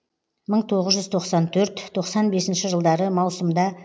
мың тоғыз жүз тоқсан төрт тоқсан бесінші жылдары маусымда